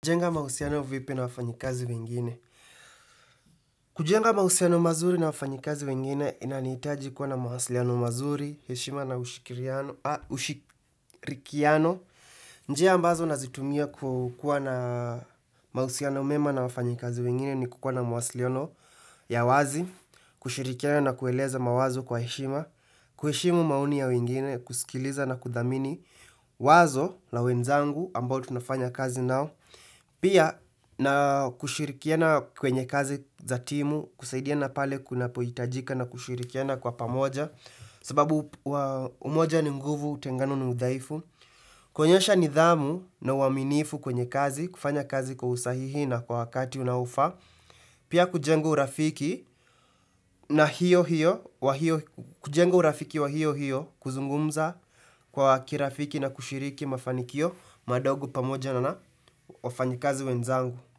Kujenga mahusiano vipi na wafanyikazi wengine. Kujenga mahusiano mazuri na wafanyikazi wengine, inanihitaji kuwa na mawasiliano mazuri, heshima na ushikiriano ushirikiano. Njia ambazo nazitumia kukua na, mahusiano mema na wafanyikazi wengine ni kukua na mawasiliano ya wazi, kushirikiana na kueleza mawazo kwa heshima, kuheshimu maoni ya wengine, kusikiliza na kudhamini wazo la wenzangu ambao tunafanya kazi nao. Pia, na kushirikiana kwenye kazi za timu, kusaidiana pale kunapohitajika na kushirikiana kwa pamoja. Sababu, umoja ni nguvu, utengano ni udhaifu. Kuonyesha nidhamu na uaminifu kwenye kazi, kufanya kazi kwa usahihi na kwa wakati unaofaa. Pia kujenga urafiki, na hiyo hiyo, kujenga urafiki wa hiyo hiyo, kuzungumza kwa kirafiki na kushiriki mafanikio madogo pamoja na wafanyikazi wenzangu.